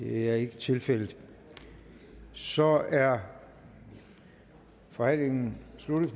det er ikke tilfældet så er forhandlingen sluttet